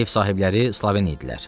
Ev sahibləri sloven idilər.